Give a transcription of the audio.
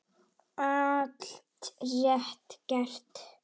Allt rétt gert.